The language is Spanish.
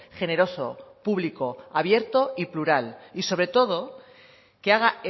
generoso público abierto y plural y sobre todo que haga